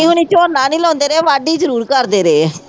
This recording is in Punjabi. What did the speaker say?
ਹੋਣੀਂ ਝੌਨਾ ਨੀ ਲਾਉਂਦੇ ਰਹੇ ਵਾਢੀ ਜ਼ਰੂਰ ਕਰਦੇ ਰਹੇ ਹੈ।